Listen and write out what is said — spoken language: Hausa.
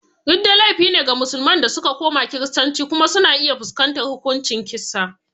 Ridda laifi ne ga musulman da suka koma Kiristanci kuma suna iya fuskantar hukuncin kisa.